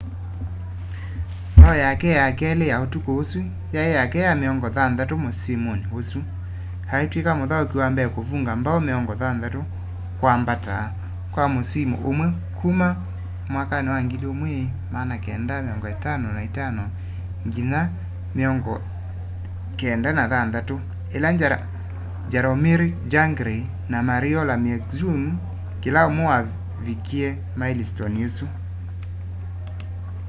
mbao yake ya keli ya utuku ũsu yai yake ya miongo thanthatu musimuni usu aitwika muthauki wa mbee kuvunga mbao 60 kwa mbata kwa musimu umwe kuma 1955-96 ila jaromir jagr na mario lemieux kila umwe mavikie mailistoni isu